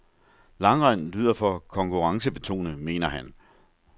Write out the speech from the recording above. Langrend lyder for konkurrencebetonet, mener han.